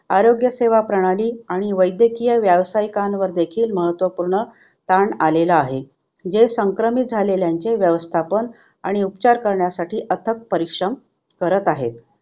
आरोग्यसेवा प्रणाली आणि वैद्यकीय व्यायसिकांवर देखील महत्वपूर्ण ताण आलेला आहे जे संक्रमित झालेल्यांचे व्यवस्थापन आणि उपचार करण्यासाठी अथक परिश्रम करत आहेत.